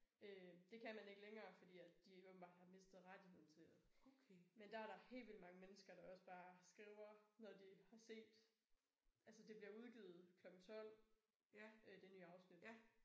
Øh det kan man ikke længere fordi at de åbenbart har mistet rettigheden til men der er der helt vildt mange mennesker der også bare skriver når de har set altså det bliver udgivet klokken 12 det nye afsnit